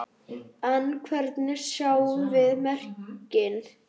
En hvernig sjáum við merkin?